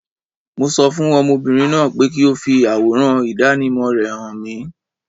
Mo sọ fún ọmọbìnrin náà pé kí ó fi àwòrán ìdánimọ̀ rẹ hàn mìí.